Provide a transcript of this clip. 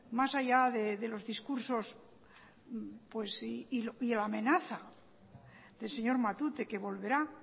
más allá de los discursos y la amenaza del señor matute que volverá